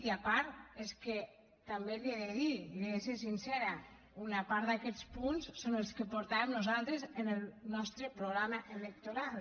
i a part és que també li he de dir li he de ser sincera una part d’aquests punts són els que portàvem nosaltres en el nostre programa electoral